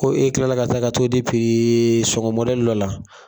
Ko e tilala ka taa ka t'o pirii sɔŋɔ dɔ la.